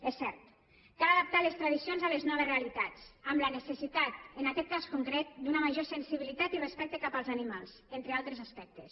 és cert cal adaptar les tradicions a les noves realitats amb la necessitat en aquest cas concret d’una major sensibilitat i respecte cap als animals entre altres aspectes